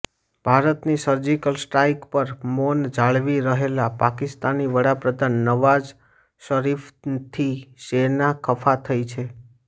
ભારતની surgical strike પર મૌન જાળવી રહેલા પાકિસ્તાની વડાપ્રધાન નવાઝ શરીફથી સેના ખફા થઈ છે